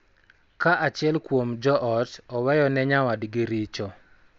Ka achiel kuom jo ot oweyo ne nyawadgi richo, .